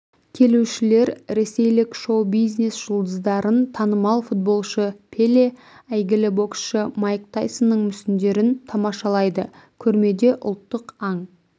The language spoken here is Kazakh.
келушілер ресейлік шоу-бизнес жұлдыздарын танымал футболшы пеле әйгілі боксшы майк тайсонның мүсіндерін тамашалайды көрмеде ұлттық аң